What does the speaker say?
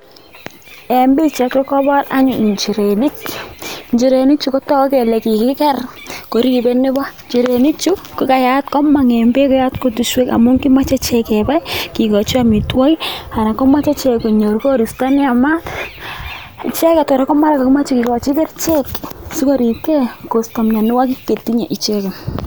En pichaini ko kobor anyun inchirenik ,inchirenichu ko toguu kele kikiker koribe nepo, inchirenichu ko komong en beek ak koyat kutuswek amun moche ichek kebai kikochi amitwokik anan ko moche ichek konyor koristo ne yamat , icheget kora ko mara kokimoche kikochi kerichek si koribkee kosto mionwokik che tinye icheket.